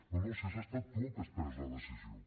no no si has estat tu el que has pres la decisió